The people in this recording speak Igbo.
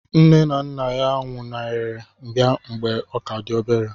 Nne na nna nwụnaghere ya mgbe ọ ka dị obere.